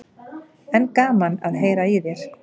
En gaman að heyra í þér.